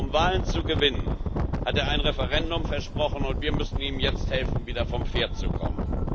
vor. Um Wahlen zu gewinnen, hat er ein Referendum versprochen, und wir müssen ihm jetzt helfen, wieder vom Pferd zu kommen.